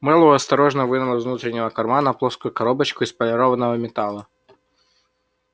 мэллоу осторожно вынул из внутреннего кармана плоскую коробочку из полированного металла